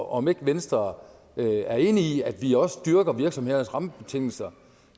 om ikke venstre er enig i at vi også dyrker virksomhedernes rammebetingelser